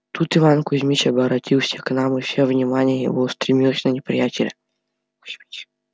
тут иван кузмич оборотился к нам и все внимание его устремилось на неприятеля